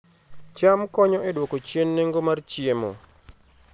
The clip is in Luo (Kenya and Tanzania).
cham konyo e duoko chien nengo mar chiemo